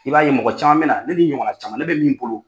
I b'a ye mɔgɔ caman bɛ na ne ni n ɲɔgɔn na caman ne bɛ min bolo.